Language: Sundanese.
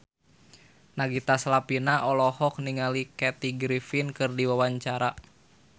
Nagita Slavina olohok ningali Kathy Griffin keur diwawancara